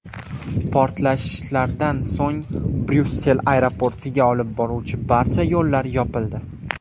Portlashlardan so‘ng Bryussel aeroportiga olib boruvchi barcha yo‘llar yopildi.